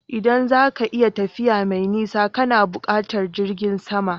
Idan za ka yi tafiya mai nisa kana buƙatar jirgin sama